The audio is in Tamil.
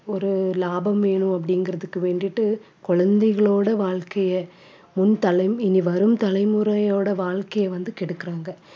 ஒரு லாபம் வேணும்அப்படிங்கறதுக்கு வேண்டிட்டு குழந்தைகளோட வாழ்க்கையை முன்தலம் இனி வரும் தலைமுறையோட வாழ்க்கையை வந்து கெடுக்கறாங்க